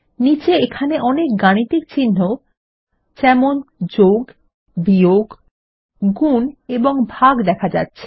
নীচে এখানে অনেক গাণিতিকচিন্হ যেমন যোগ বিয়োগ গুন এবং ভাগ দেখা যাচ্ছে